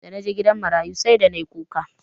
Da naje gidan marayu sai da nayi kuka.